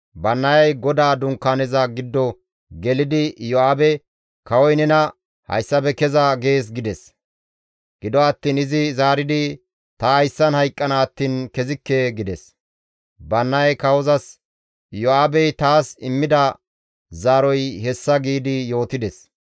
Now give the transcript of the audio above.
Bannayay GODAA Dunkaaneza giddo gelidi Iyo7aabe, «Kawoy nena, ‹Hayssafe keza› gees» gides. Gido attiin izi zaaridi, «Ta hayssan hayqqana attiin kezikke» gides. Bannayay kawozas, «Iyo7aabey taas immida zaaroy hessa» giidi yootides.